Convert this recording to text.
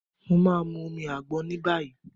Mo ma mu omi àgbọn níbàyí.